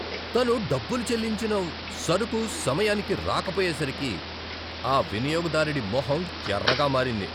తను డబ్బులు చెల్లించిన సరుకు సమయానికి రాకపోయేసరికి ఆ వినియోగదారుడి మొహం ఎర్రగా మారింది.